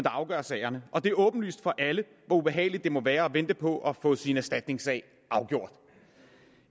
afgør sagerne og det er åbenlyst for alle hvor ubehageligt det må være at vente på at få sin erstatningssag afgjort